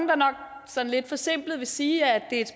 der sådan lidt forsimplet vil sige at det